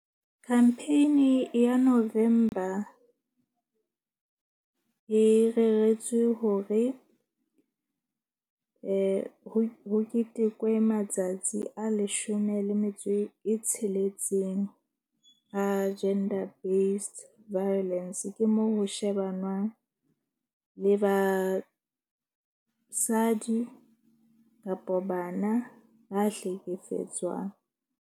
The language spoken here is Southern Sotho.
Campaign-i ya November e reretswe hore ho ketekwe matsatsi a leshome le metso e tsheletseng a gender based violence. Ke moo ho shebanwang le basadi kapo bana ba hlekefetswang.